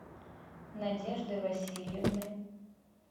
надежды васильевны